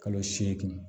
Kalo seegin